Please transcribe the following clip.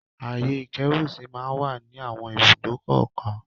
Ààyè ìkẹ́rùsí ma ń wà ní àwọn ìbùdókọ̀ kọ̀ọ̀kan.